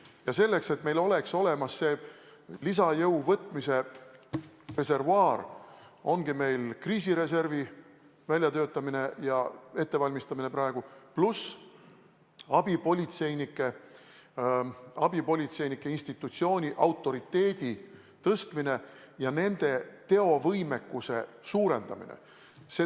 Ja selleks, et meil oleks olemas see lisajõu reservuaar, ongi meil praegu kriisireservi väljatöötamine ja ettevalmistamine, pluss abipolitseinike institutsiooni autoriteedi tõstmine ja nende teovõime suurendamine.